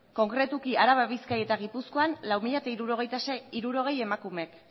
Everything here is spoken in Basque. konkretuki araba bizkaia eta gipuzkoan lau mila hirurogei emakumeek